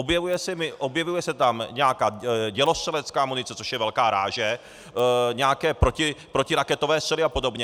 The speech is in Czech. Objevuje se tam nějaká dělostřelecká munice, což je velká ráže, nějaké protiraketové střely a podobně.